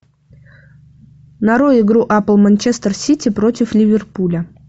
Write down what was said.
нарой игру апл манчестер сити против ливерпуля